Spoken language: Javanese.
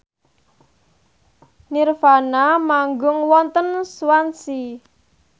nirvana manggung wonten Swansea